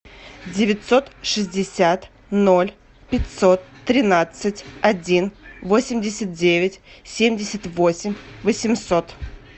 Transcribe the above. девятьсот шестьдесят ноль пятьсот тринадцать один восемьдесят девять семьдесят восемь восемьсот